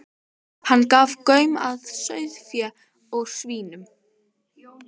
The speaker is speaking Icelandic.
Hann gaf gaum að sauðfé, að svínum.